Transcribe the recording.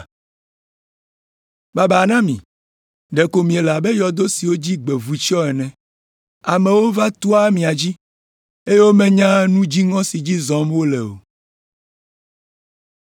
“Babaa na mi. Ɖeko miele abe yɔdo siwo dzi gbe vu tsyɔ̃ ene. Amewo va toa mia dzi, eye womenyaa nu dziŋɔ si dzi zɔm wole o.”